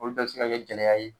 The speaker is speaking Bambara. Olu bɛ bɛ ka kɛ gɛlɛya ye.